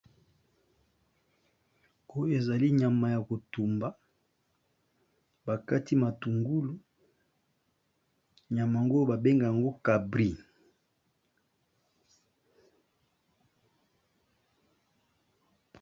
Oyo ezali nyama ya kotumba, bakati matungulu nyama ngo ba benga ngo cabri.